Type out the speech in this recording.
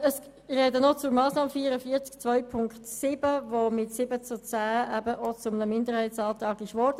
Ich spreche nun noch zur Massnahme 44.2.7, die mit 7 zu 10 Stimmen zu einem Minderheitsantrag wurde.